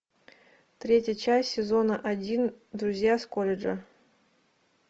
третья часть сезона один друзья с колледжа